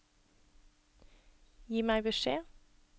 Gi meg beskjed